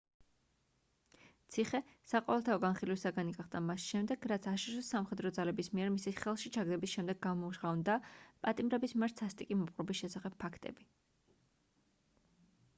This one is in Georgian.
ციხე საყოველთაო განხილვის საგანი გახდა მას შემდეგ რაც აშშ-ის სამხედრო ძალების მიერ მისი ხელში ჩაგდების შემდეგ გამჟღავნდა პატიმრების მიმართ სასტიკი მოპყრობის შესახებ ფაქტები